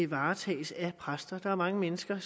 varetages af præster der er mange mennesker